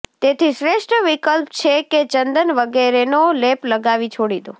તેથી શ્રેષ્ઠ વિકલ્પ છે કે ચંદન વગેરેનો લેપ લગાવી છોડી દો